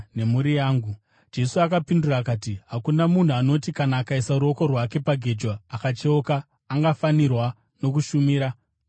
Jesu akapindura akati, “Hakuna munhu anoti kana akaisa ruoko rwake pagejo akacheuka angafanirwa nokushumira muumambo hwaMwari.”